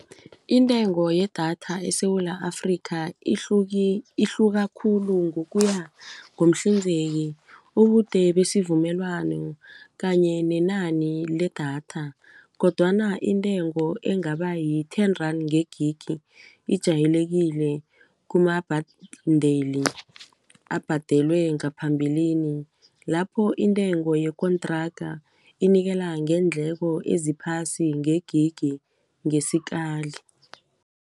Intengo yedatha eSewula Afrika ihluka khulu ngokuya ngomhlinzeki ubude besivumelwano kanye nenani ledatha kodwana intengo engaba yi-ten rand ngegigi ijayelekile kuma-bundle abhadelwe ngaphambilini lapho intengo yekontraga inikela ngeendleko eziphasi ngegigi ngesikali.